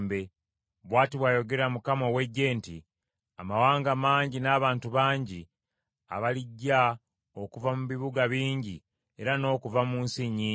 Bw’ati bw’ayogera Mukama ow’Eggye nti, “Amawanga mangi n’abantu bangi abalijja okuva mu bibuga bingi era n’okuva mu nsi nnyingi;